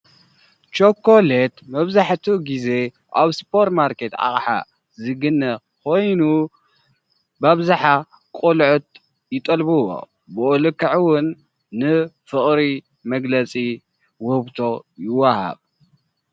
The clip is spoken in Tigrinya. ቸኮሌት መብዛሕትኡ ግዜ ኣብ ስፖርማርኬት አቅሓ ዝግነ ኮይኑ ብአብዝሓ ቆልዑት ይጠልብዎ። ብኡ ልክዕ እዉን ንፍቅሪ መግለፂ ዉህብቶ ይዋሃብ።